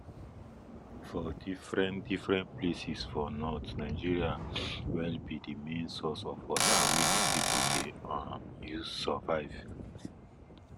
for different different places for northern nigeria well be the main source of water wey the people dey um use survive